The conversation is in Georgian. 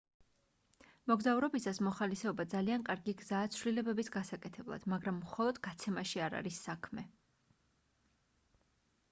მოგზაურობისას მოხალისეობა ძალიან კარგი გზაა ცვლილებების გასაკეთებლად მაგრამ მხოლოდ გაცემაში არ არის საქმე